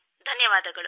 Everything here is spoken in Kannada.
ಧನ್ಯವಾದಗಳು